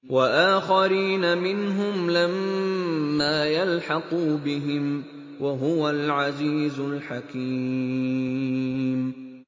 وَآخَرِينَ مِنْهُمْ لَمَّا يَلْحَقُوا بِهِمْ ۚ وَهُوَ الْعَزِيزُ الْحَكِيمُ